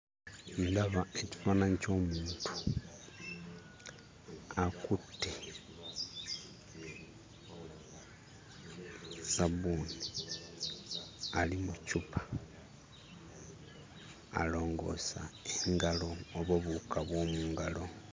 Ndaba ekifaananyi ky'omuntu akutte sabbuuni ali mu ccupa alongoosa engalo oba obuwuka bw'omu ngalo.